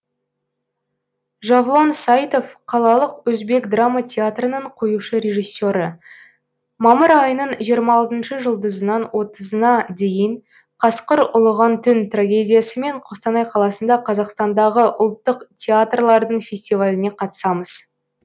жавлон сайтов қалалық өзбек драма театрының қоюшы режиссе рі мамыр айының жиырма алтыншы жұлдызынан отызына дейін қасқыр ұлыған түн трагедиясымен қостанай қаласында қазақстандағы ұлттық театрлардың фестиваліне қатысамыз